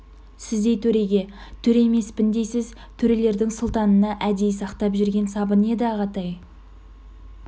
сіздей төреге төре емеспін дейсіз төрелердің сұлтанына әдейі сақтап жүрген сабын еді ағатай